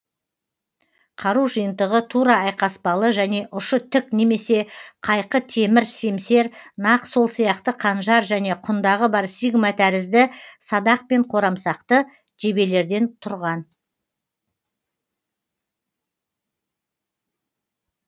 қару жиынтығы тура айқаспалы және ұшы тік немесе қайқы темір семсер нақ сол сияқты қанжар және құндағы бар сигма тәрізді садақ пен қорамсақты жебелерден тұрған